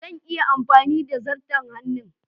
Zan iya amfani da zarto hannun